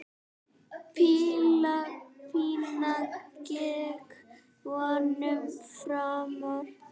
Píla Pína gekk vonum framar.